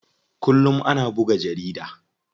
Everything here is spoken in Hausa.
Kullum ana buga jarida.